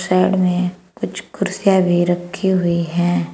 Side में कुछ कुर्सियां भी रखी हुई है।